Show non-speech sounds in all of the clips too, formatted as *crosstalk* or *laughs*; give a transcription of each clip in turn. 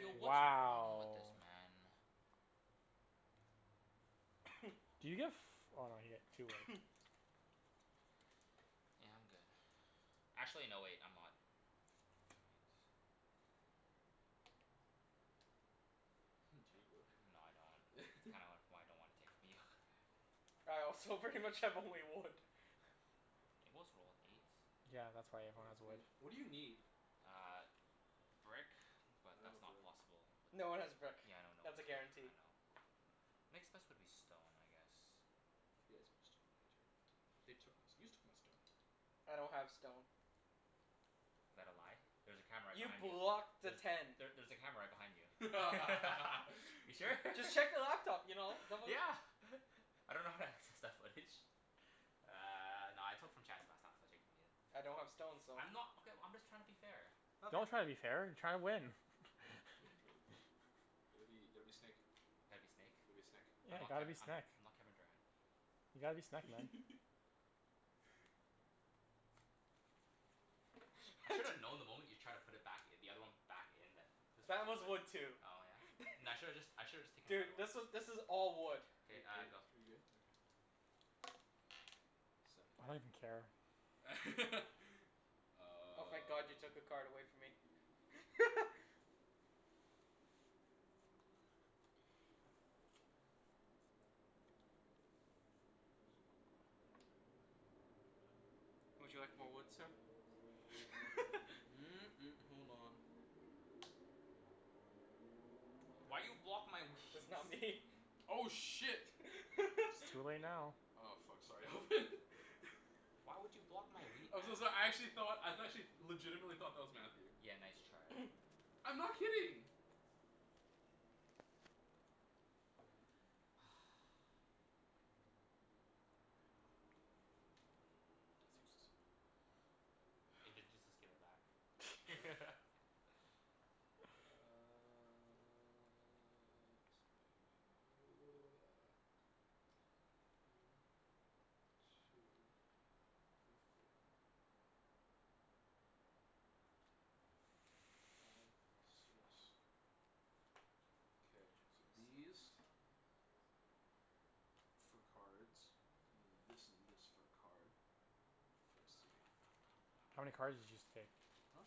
Yo, what's *noise* wrong Wow. with this man? *noise* Do you get f- oh you get two wood. *noise* Yeah, I'm good. Actually no wait, I'm not. Knight. *laughs* Do Huh. you need wood? No I don't. Kinda *laughs* why I don't wanna take from you. *laughs* All right, so pretty much I have only wood. It was rolled, eight. Yeah, that's Well, why everyone has it's wood. eight. What do you need? Uh brick, but I don't that's have not brick. possible with, No one has brick. yeah I know no That's one a has, guarantee. I know. Next best would be stone, I guess. He has more stone than I do. They took my st- you took my stone. I don't have stone. Is that a lie? There's a camera right You behind you. blocked the There's, ten. there there's a camera right behind you. *laughs* You sure? *laughs* *laughs* Just check the laptop you know? Don't beli- Yeah *laughs* I dunno how to access that footage. Uh no I took from Chancey last time so I'll take from you. I don't have stone so I'm not, okay well I'm just tryin' to be fair. Don't Okay. try to be fair. Try to win *laughs* *laughs* Gotta be, gotta be snake. Gotta be snake? Gotta be a snek. Yeah, I'm not gotta be Kevi- I'm snek. not Kevin Durant. You gotta be snek man. *laughs* I should have *laughs* known the moment you tried to put it back i- the other one back in that This That was was a whiff. wood too. Oh *laughs* yeah? N- I shoulda just I should've just taken another Dude, one. this was this is all wood. Are K, you are uh you go. are you good? Okay. Seven. I don't even care. *laughs* Oh thank god you took a Um card away from me. *laughs* Would you like more wood, sir? *laughs* *noise* hold on. Why you block my That's not wheat? me. Oh shit. It's too *laughs* late now. Oh fuck, sorry Alvin. *laughs* Why would you block my wheat, man? I'm so so- I actually thought, I actually legitimately thought that was Matthew. Yeah, nice try. *noise* I'm not kidding. *noise* That's useless. If it's useless *noise* give it back. *laughs* *noise* Uh let's go *noise* One two three four Five six, K, these *inaudible* for cards and then this and this for a card. For a city. How many cards did you just take? Huh?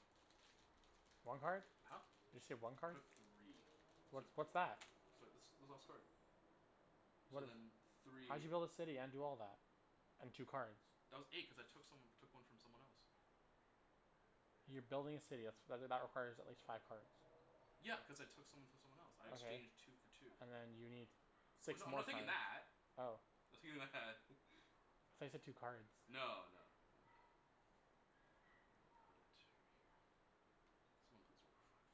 One card? Huh? You just take one I card? took three What so what's that? So this this last card. So What then di- , how'd you three build a city and do all that? And two cards? That was eight, cuz I took some, took one from someone else. You're building a city. That's that that requires at least five cards. Yeah, cuz I took some from someone else. I Okay, exchanged two for two. and then you need Well six no, I'm more not thinking cards. that. Oh. I'm thinking that. *laughs* I thought you said two cards. No no no. I will put it right here. Someone please roll a five.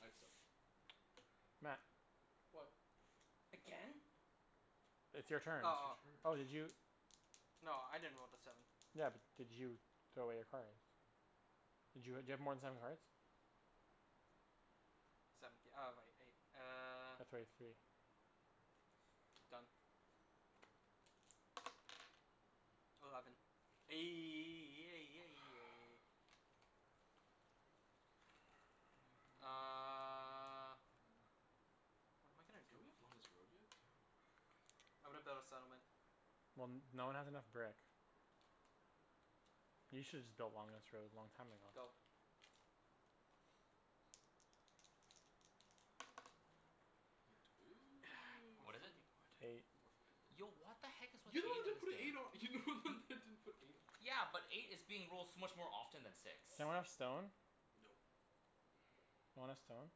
I'd suck. Oh well. Matt. What? Again? It's your turn. Oh It's your oh. turn *noise* Oh did you *noise* No, I didn't roll the seven. Yeah, but did you throw away your cards? Did you ha- do you have more than seven cards? Seventh th- oh wai- eight. Uh *noise* throw away three One. Done. Eleven. *noise* Fu- *noise* *noise* Uh What am I gonna do? Don't we have longest road yet? Damn. I'm gonna build a settlement. Well n- no one has enough brick. You shoulda just built longest road long time ago. Go. Eight *noise* More What is it? fucking *noise* wood. Eight. Mo- fucking Yo road. what the heck is You're with the one that eight in didn't put this an eight on, you're the only one game? that *noise* didn't put an eight on. Yeah, but eight is being rolled so much more often than six. Does anyone have stone? Nope *noise* Want a stone?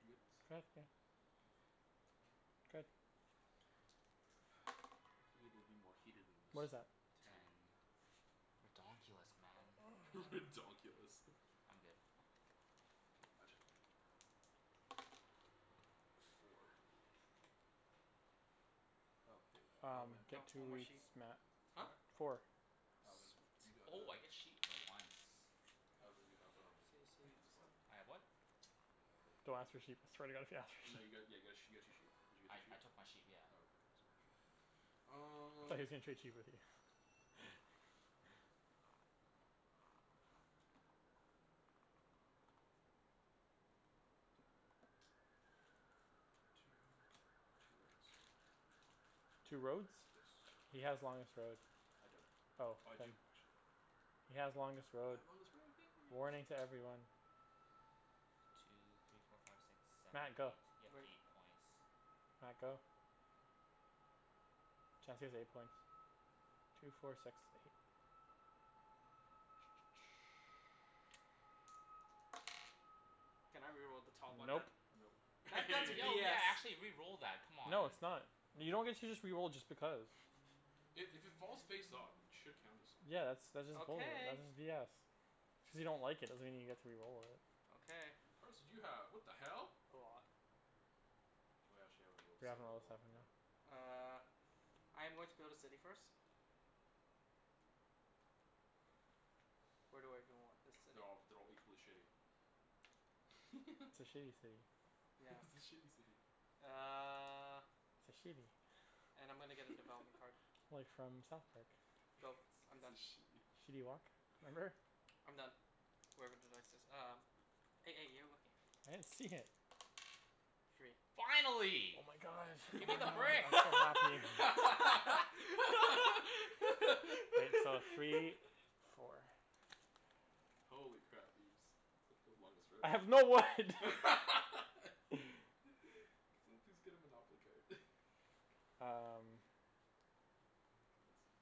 You good? *inaudible* *noise* Good. *noise* Figured it'd be more heated than What is this. that? Ten. Ten. Ridonkulus man. *laughs* Ridonkulus. I'm good. K, my turn. *noise* Four. Oh hey uh Um Alvin. get No, two one more woods, sheep. Matt. Huh? Four? Four. Alvin, Sweet. you got uh Oh I get sheep for once. Alvin you have um what's it called *inaudible* I have what? *noise* Don't ask for uh sheep. I swear to god if you ask for No you sheep. got, yeah got a you got two sheep. Did you get I two sheep? I took my sheep, yeah. Oh okay, just making sure. Um Thought he was gonna trade sheep with you *laughs* Two for two roads. Two roads? Yes. He has longest road. I don't. Oh Oh I then do, actually. He has longest road. I have longest road, yay! Warning to everyone. Two three four five six seven Matt, eight, go. you have Wait. eight points. Matt, go. Chancey has eight points. Two four six eight. Can I re-roll the top one Nope. then? Nope That that's Yo yeah, BS. *noise* actually re-roll that, come on. No it's not. You don't get to just re-roll just because. I- if it falls face up it should count as something. Yeah that's, that's just balder- Okay. that's just BS. Just because you don't like it doesn't mean you get to re-roll it. Okay. How many cards did you have? What the hell? A lot. Oh yeah, actually haven't rolled We haven't seven in rolled a a while, seven, yeah. no. Uh I am going to build a city first. Where do I even want this city? They're all, they're all equally shitty. It's a *laughs* shitty city. *laughs* It's a Yes. shitty city. Uh It's a shitty And I'm gonna get a development card. *laughs* Like from South Park. Go, *laughs* I'm It's a done. shitty. Shitty Wok? Remember? I'm done, wherever the dice is. Um. *noise* You're looking. I didn't see it. Three. Finally. Oh my god. Gimme I the know. brick. I'm so happy. Wait, so *laughs* three, *laughs* four. Holy crap, Ibs. Way to build longest road. *laughs* I Can have no wood. *laughs* someone please get a monopoly card? *laughs* Um Okay, clean this up.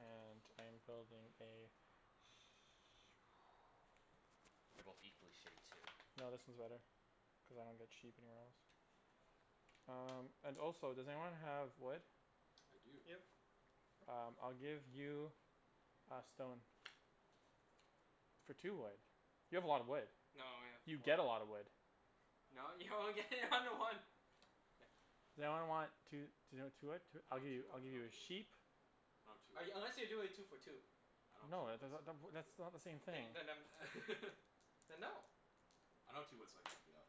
And I am building a sh- They're both equally shitty too. No, this one's better, cuz I don't get sheep anywhere else. Um and also does anyone have wood? I do. Yep. Um I'll give you a stone. For two wood. You have a lot of wood. No, I have You four. get a lotta wood. No, you only get *laughs* one to one. K. Does anyone want two *inaudible* I I'll don't give have you, two I'll wood, I give you don't have a two wood. sheep. No two I, wood. unless you're doing two for two. I don't have two No, uh wood the the so I the can't w- help that's you not out. the same Then thing. y- then um *laughs* Then no. I don't have two wood so I can't help you out.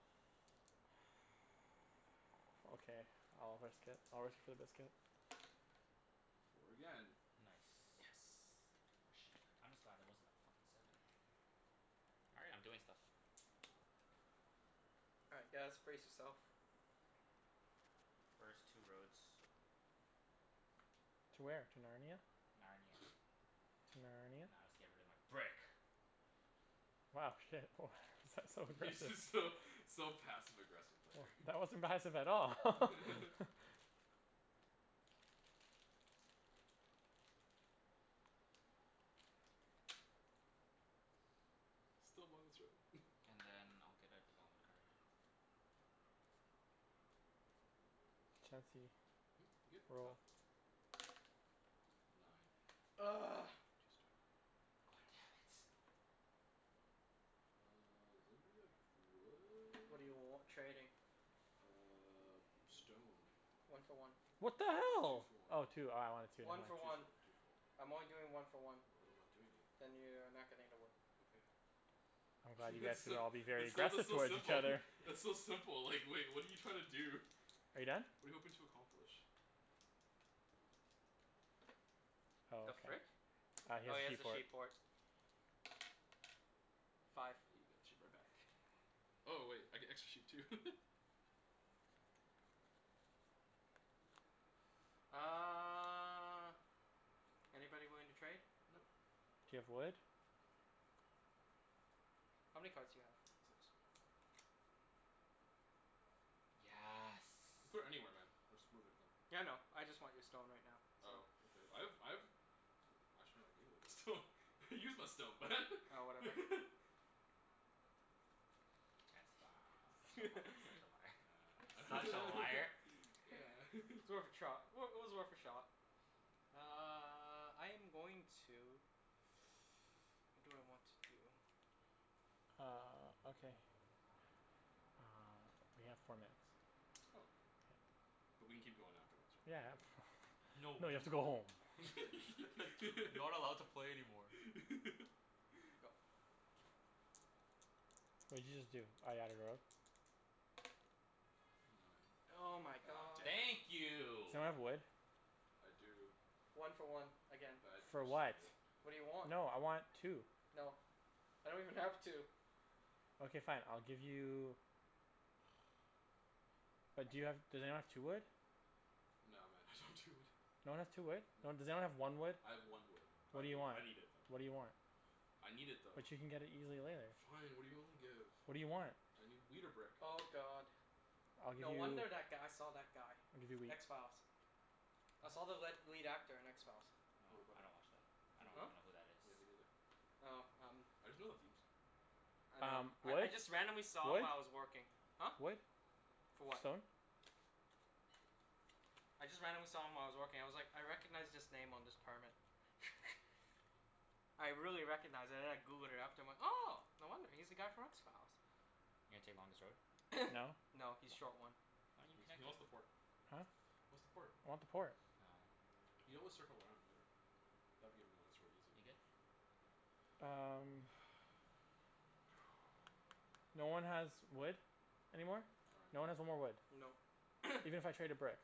Okay, I'll risk it. I'll risk it for the biscuit. Four again. Yes. Nice. More sheep. I'm just glad that wasn't a fuckin' seven. All right, I'm doing stuff. All right guys, brace yourself. First two roads. To where? To Narnia? Narnia. *noise* To Narnia? Now I'll just get rid of my brick. Wow shit, woah that's so *laughs* Yeah aggressive. just so so passive aggressive there. *laughs* That wasn't passive at all. *laughs* *laughs* Still longest road *laughs* And then I'll get a development card. Chancey, Mhm? Good? Go. roll. Nine. *noise* *noise* God damn it. Uh does anybody have What do you w- wood? trading? Uh stone. One for one. What the Two hell? for one. Oh two, oh I wanted two, my One for bad. Two for one, one. two for one. I'm only doing one for one. Then I'm not doing it. Then you are not getting the wood. Okay. I'm glad *laughs* you guys It's can still, all be very it's so aggressive though towards each simple. other. *laughs* It's so simple like like what're you trying to do? *laughs* Are you done? What're you hoping to accomplish? Oh The okay. frick? Uh he Oh has he has a sheep sheep port. port. Oh Five. *noise* got the sheep right back. Oh wait, I get extra sheep too. *laughs* Uh anybody willing to trade? Nope. Do you have wood? How many cards do you have? Six. Yes. Put it anywhere man, I'll just move it again. Yeah, I know, I just want your stone right now, so Oh okay, I have I have Oh actually I gave away my stone, *laughs* I used my stone *noise* Oh whatever. *laughs* Chancey *laughs* Such a li- such a *laughs* liar. *noise* Such a liar. *laughs* It's worth a *laughs* trot. Well it was worth a shot. Uh I'm going to *noise* what do I want to do? Uh okay. Uh we have four minutes. Oh. But we can keep going afterwards right? Yeah *laughs* no No, you have to go home. *noise* *laughs* Not allowed to play anymore. Go. *laughs* What did you just do? Oh you haven't rolled? Oh Nine. my God damn god. it. Thank Does you. anyone have wood? I do. One for one, again. But I For actually what? need it. What do you want? No, I want two. No, I don't even have two. Okay fine, I'll give you But do you have, does anyone have two wood? No man, I don't have two wood. No one has two wood? No No. one, does anyone have one wood? I have one wood. But What I do you need it, want? I need it though. What do you want? *noise* I need it though. But you can get it easily later. Fine, what're you willing to give? What do you want? I need wheat or brick. Oh god. I'll give No wonder you that guy saw that guy. I'll give you wheat. X Files. I saw the What? led lead actor in X Files. What Oh about I him? don't watch that. I Me don't Huh? neither. even know who that is. Yeah, me neither. Oh um I just know the theme song. I know. Um I I wood? just randomly saw him while I was working. Huh? Wood? Wood? For what? Stone? I just randomly saw him while I was working. I was like "I recognize this name on this permit." *laughs* I really recognized and then I Googled it after and I'm like "Oh no wonder. He's the guy from X Files." You gonna take longest road? No? *noise* No, he's short one. Wha- why No, you he's connect he us wants the port. He Huh? wants the port. I want the port. Oh. You always circle around later. That'd give him longest road easy. You good? Um *noise* *noise* No one has wood anymore? No. Sorry No man. one has no more wood? Nope. Even if *noise* I traded brick?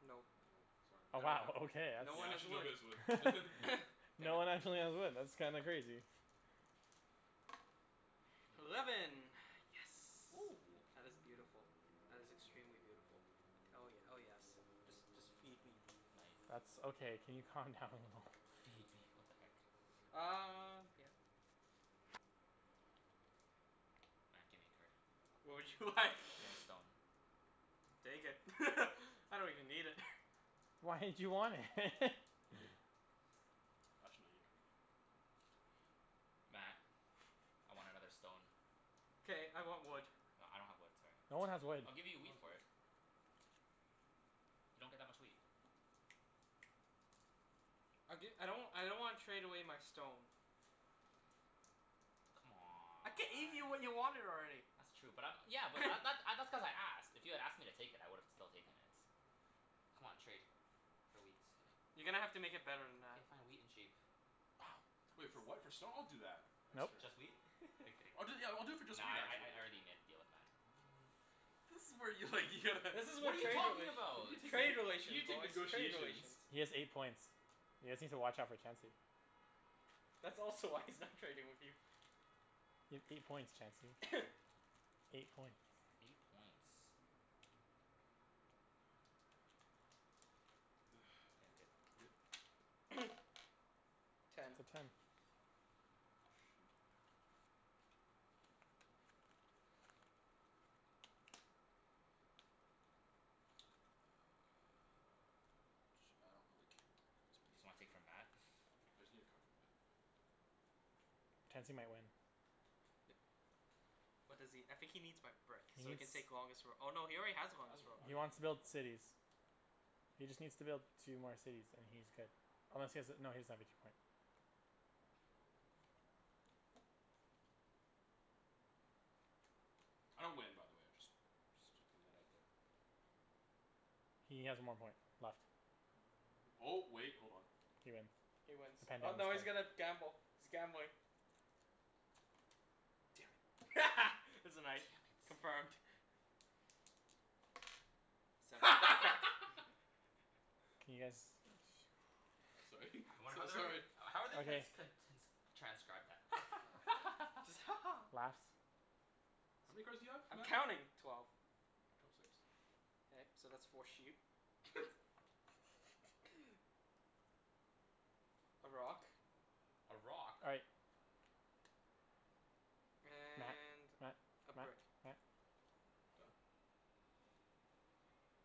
Nope. Nope, sorry Oh I man. don't wow, have, okay, that's no one Yeah, has actually wood. nobody has wood *laughs* *laughs* *noise* Damn No one it. actually has wood, that's kinda crazy. Eleven. Eleven. Yes. Oh. *noise* That is beautiful. That is extremely beautiful. Oh ye- oh yes. Just just feed me. That's okay, can you calm down a little? "Feed me." What the heck? Um yeah. Matt, gimme a card. What would you like? *noise* Get a stone. Take it *laughs* I don't even need it. *laughs* Why did you want it? *laughs* You good? Actually no, you're not good. Don't worry. Matt, *noise* I want another stone. K, I want wood. No I don't have wood, sorry. No one has wood. I'll give you a No wheat one has for wood. it. You don't get that much wheat. I'll gi- I don't w- I don't wanna trade away my stone. I gave you what you C'mon. wanted already. That's true but I'm, yeah but that *noise* th- uh that's cuz I asked. If you had asked me to take it I would've still taken it. C'mon trade, for wheat. You're gonna have to make it better than that. K fine, wheat and sheep. Wait for what, for stone? I'll do that. Nope. Next turn. Just wheat? *laughs* I'm kidding. I'll do it yeah, I'll do it for just Nah wheat, I I actually. I already made a deal with Matt. *noise* This is where you like you'd This is *laughs* What what are you trade talking relations, about? You gonna trade take you relations gonna take boys, trade negotiations. relations. He has eight points. You guys need to watch out for Chancey. That's also why he's not trading with you. You have eight points Chancey. *noise* Eight points. Eight points. *noise* K, K, I'm good. good? *noise* Ten. It's Ten. a ten. A sheep. And then *noise* Uh ch- I don't really care where it goes. Matt Just give me a wanna take card. from Matt? *noise* I just need a card from Matt. Chancey might win. *noise* What does he, I think he needs my brick He so he needs can take longest roa- oh no, he already has I have long, longest road. I He already have wants to build longest road. cities. He just needs to build two more cities and he's good. Unless he has a, no he doesn't have a two point. I don't win by the way, I just just putting that out there. He has one more point left. Um oh wait, hold on. He wins. He wins. Oh no he's gonna gamble. He's gambling. Damn it. *laughs* It's a Damn night. it. Confirmed. Seven. *laughs* *laughs* Can you guys Oh sorry I wonder how so- they're sorry gon- how are they gonna Okay. ts- con- t- n- s- transcribe that? *laughs* Just *laughs* "Ha ha" "Laughs." How many cards do you have I'm Matt? counting. Twelve. Drop six. K, so that's four sheep. *laughs* *laughs* A rock. A rock? All right. Matt, And Matt, a Matt, brick. Matt Done?